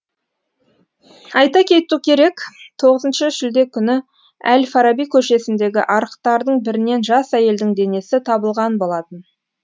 айта кету керек тоғызыншы шілде күні әл фараби көшесіндегі арықтардың бірінен жас әйелдің денесі табылған болатын